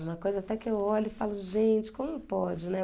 Uma coisa até que eu olho e falo gente, como pode, né?.